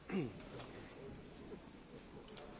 Frau Präsidentin, liebe Kolleginnen und Kollegen!